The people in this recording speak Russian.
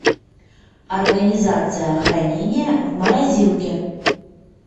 организация хранения в морозилке